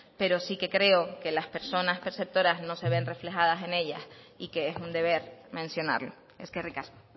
pero sí que creo que las personas perceptoras no se ven reflejadas en ellas y que es un deber mencionarlo eskerrik asko